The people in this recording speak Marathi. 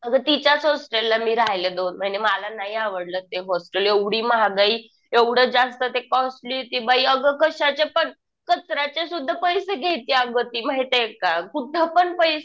अगं तिच्याच होस्टेलला मी राहिले दोन महिने. मला नाही आवडलं ते हॉस्टेल. एवढी महागाई एवढं जास्त ते कॉस्टली. ती बाई अगं कशाचे पण. कचऱ्याचे सुद्धा पैसे घेती अगं ती. माहितीये का. कुठं पण पैसेच.